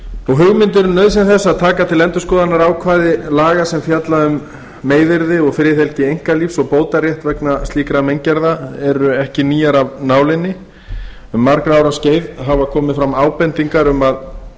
hugmyndir um nauðsyn þess að taka til endurskoðunar ákvæði laga sem fjalla um meiðyrði og friðhelgi einkalífs og bótarétt vegna slíkra meingerða eru ekki nýjar af nálinni um margra ára skeið hafa komið fram ábendingar um að